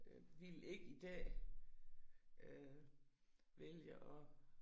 Øh ville ikke i dag øh vælge at